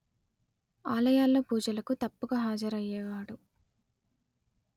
ఆలయాలలో పూజలకు తప్పక హాజరయ్యేవాడు